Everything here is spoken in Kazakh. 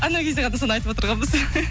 анау кезде ғана соны айтып отырғанбыз